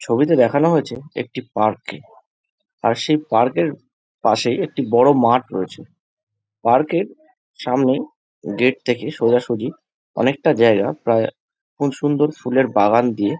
ছবিতে দেখানো হয়েছে একটি পার্ক কে আর সেই পার্ক এর পাশেই একটি বড় মাঠ রয়েছে। পার্ক এর সামনেই গেট থেকে সোজাসুজি অনেকটা জায়গা প্রায় খুব সুন্দর ফুলের বাগান দিয়ে --